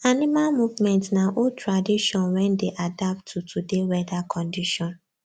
animal movement na old tradition wen dey adapt to today weather condition